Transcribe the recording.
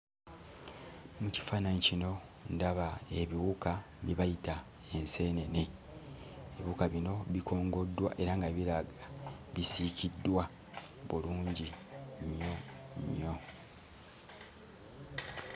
Mu kifaananyi kino ndaba ebiwuka bye bayita enseenene. Ebiwuka bino bikongoddwa era nga biraga bisiikiddwa bulungi nnyo nnyo.